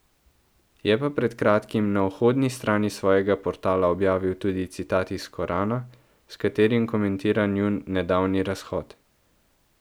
Je pa pred kratkim na vhodni strani svojega portala objavil tudi citat iz Korana, s katerim komentira njun nedavni razhod.